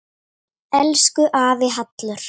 Elsku afi Hallur.